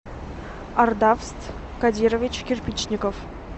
ардавст кадирович кирпичников